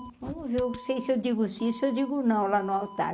não sei se eu digo sim ou se eu digo não lá no altar.